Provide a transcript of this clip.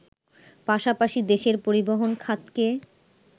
পাশাপাশি দেশের পরিবহন খাতকে